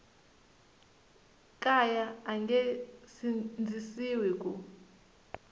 kaya a nge sindzisiwi ku